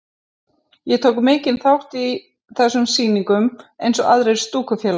Ég tók mikinn þátt í þessum sýningum eins og aðrir stúkufélagar.